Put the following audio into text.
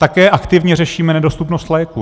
Také aktivně řešíme nedostupnost léků.